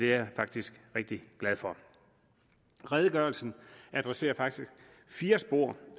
jeg faktisk rigtig glad for redegørelsen adresserer faktisk fire spor